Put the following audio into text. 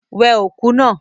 Wẹ òkú náà!